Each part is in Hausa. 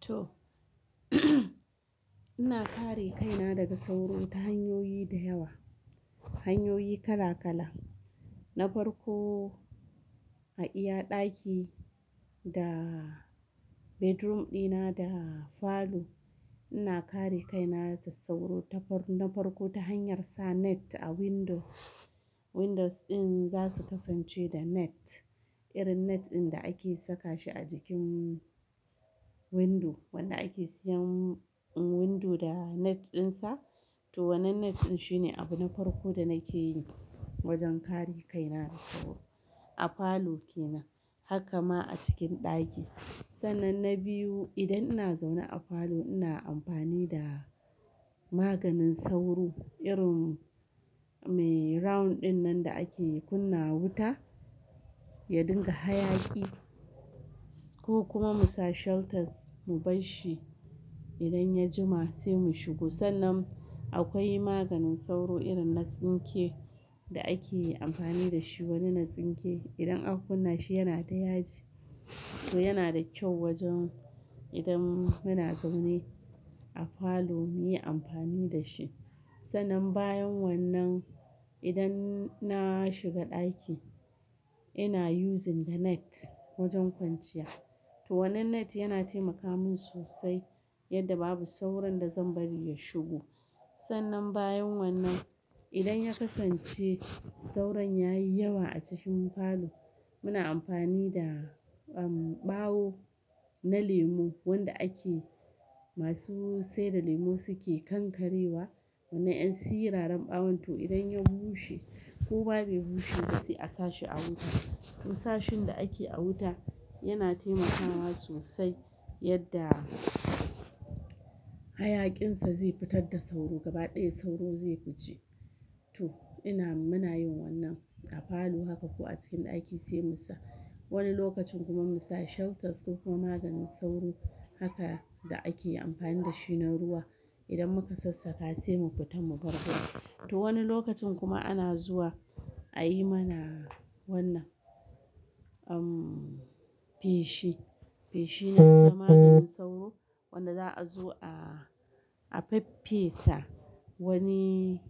To. Ina kare kaina daga sauro ta hanyoyi da yawa, hanyoyi kala-kala. Na farko, a iya ɗaki da bedroom ɗina da falo, ina kare kaina ta sauro ta farko ta hanyar sa net a windows. Windows ɗin za su kasance da net, irin net din da ake saka shi a jikin window. Wanda ake siyan window da net ɗinsa. To wannan net ɗin shine abu na farko da nake yi wajen kare kaina daga sauro. A falo kenan, haka ma a cikin ɗaki. Sannan na biyu, idan ina zaune a falo ina amfani da maganin sauro, irin me round din nan da ake kunna wuta, ya ɗinka hayaki. Ko kuma mu sa shelters, mu bar shi idan ya jima sai mu shigo. Sannan akwai maganin sauro irin na tsinke da ake amfani da shi, wani na tsinke. Idan aka kunna shi yana da yaji. To yana da kyau wajen idan muna zaune a falo muyi amfani da shi. Sannan bayan wannan, idan na shiga ɗaki ina using the net wajen kwanciya. To wannan net yana taimaka min sosai yadda babu sauron da zan bari ya shigo. Sannan bayan wannan, idan ya kasance sauron ya yi yawa a cikin falo, muna amfani da, um, ɓawo na lemu wanda ake, masu sai da lemu suke kankarewa. Wannan ƴan siraran ɓawon to idan ya bushe ko ba bai bushe ba sai a sa shi a wuta. Musashin da ake a wuta yana taimakawa sosai yadda hayaƙinsa zai fitar da sauro gaba ɗaya sauro zai fuce. To ina, muna yin wannan a falo haka ko a cikin ɗaki sai mu sa. Wani lokacin kuma mu sa shelters ko kuma maganin sauro haka da ake amfani da shi na ruwa. Idan muka sassaka sai mu fitar mu bar gida. To wani lokacin kuma ana zuwa a yi mana wannan, um, feshi. Feshi na sa maganin sauro wanda za a zo a, a faffesa wani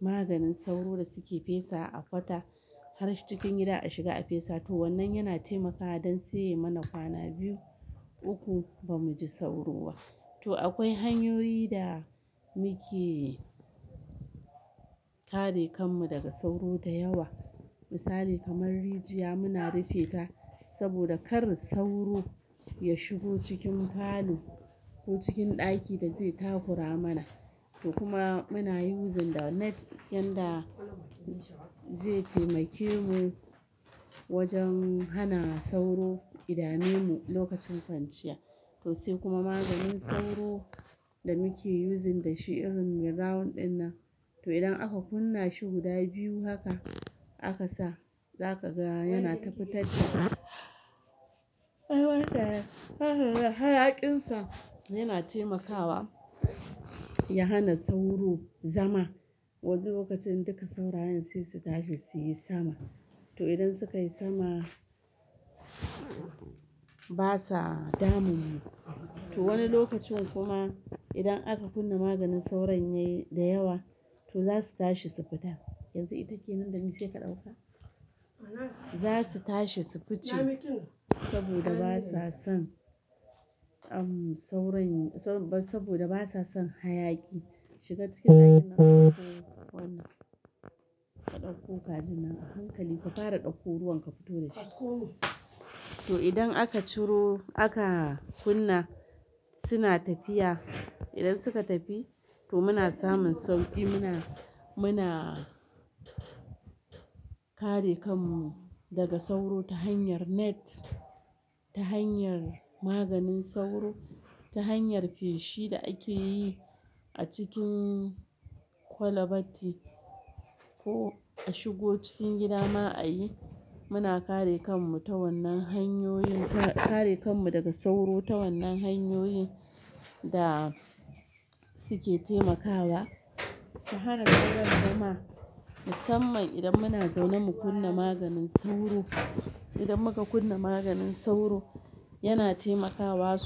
maganin sauro da suke fesa a kwata har cikin gida a shiga a fesa. To wannan yana taimakawa don sai yai mana kwana biyu, uku ba mu ji sauro ba. To akwai hanyoyi da muke tare kanmu daga sauro da yawa. Misali kamar rijiya muna rufe ta saboda kar sauro ya shigo cikin falo ko cikin ɗaki da zai takura mana. To kuma muna using da net yadda zai taimake mu wajen hana sauro ida memu lokacin kwanciya. To sai kuma maganin sauro da muke using da shi irin me round din nan. To idan aka kunna shi guda biyu haka aka sa, za ka ga yana ta fitatta. Hayakinsa yana taimakawa ya hana sauro zama. Wani lokacin duka saunayin sai su tashi su yi sama. To idan suka yi sama, ba sa damunmu. To wani lokacin kuma idan aka kunna maganin sauron yayi da yawa to za su tashi su fita. Yanzu ita ke nan da ni, sai ka ɗauka. Za su tashi su fice saboda ba sa son, um, sauron, sau, ba, saboda ba sa son hayaki. Shiga cikin ɗaki na ka ɗakko wannan. Ka ɗauko kajin nan a hankali, ka fara ɗauko ruwan ka fito da shi. To idan aka ciro, aka kunna suna tafiya. Idan suka tafi to muna samun sauki. Muna, muna kare kanmu daga sauro ta hanyar net, ta hanyar maganin sauro, ta hanyar fushi da ake yi a cikin kwalabati ko a shigo cikin gida ma a yi. Muna kare kanmu ta wannan hanyoyin, ka, kare kanmu daga sauro ta wannan hanyoyin da suke taimakawa. To hana sauran zama, musamman idan muna zaune mu kunna maganin sauro. Idan muka kunna maganin sauro yana taimakawa sos-